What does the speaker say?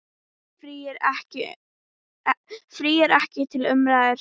Frí er ekki til umræðu.